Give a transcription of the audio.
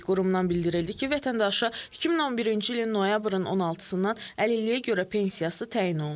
Qurumdan bildirildi ki, vətəndaşa 2011-ci ilin noyabrın 16-dan əlilliyə görə pensiyası təyin olunub.